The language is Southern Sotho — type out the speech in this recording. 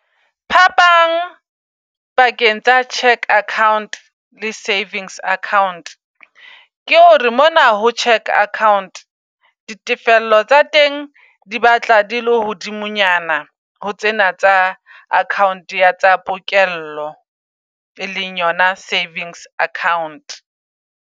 Phapang pakeng tsa cheque account le savings account ke hore mona ho cheque account ditefello tsa re teng di batla di le hodimo nyana, ho tsena tsa account ya tsa pokello. E leng yona savings account